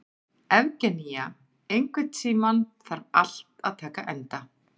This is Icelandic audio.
Evgenía, einhvern tímann þarf allt að taka enda.